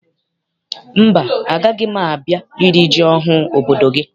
Mba, agaghị m a bịa iri ji ọhụụ obodo gị.